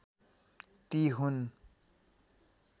ती हुन्